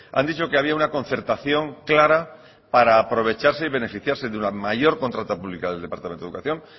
han dicho que había una concertación clara para aprovecharse y beneficiarse de una mayor contrata pública del departamento de educación